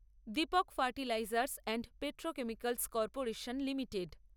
Dipak fertilisers and petrochemicals corporation limited